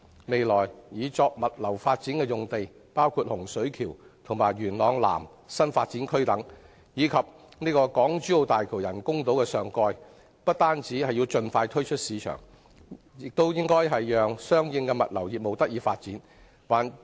未來擬作物流發展的用地，包括洪水橋、元朗南新發展區及港珠澳大橋人工島上蓋等，不但要盡快推出市場，亦應顧及相應物流業務的發展。